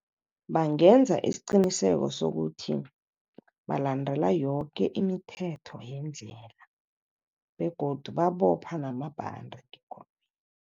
Bangenza isiqiniseko sokuthi balandela yoke imithetho yendlela begodu babopha namabhande